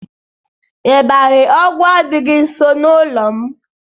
Ịbarị Ọgwa adịghị nso n'ụlọ m.